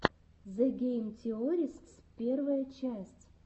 зе гейм теористс первая часть